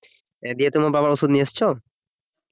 এ দিয়ে তোমার বাবার ওষুধ নিয়ে এসেছো